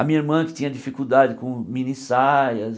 A minha irmã que tinha dificuldade com mini-saias.